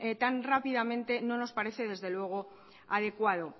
tan rápidamente no nos parece desde luego adecuado